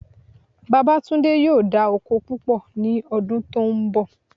Babátúndé yóò dá oko púpọ̀ ní ọdún tó ń bọ̀